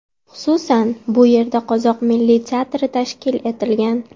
Xususan, bu yerda Qozoq milliy teatri tashkil etilgan.